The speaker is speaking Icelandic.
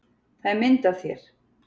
Það er mynd af þér.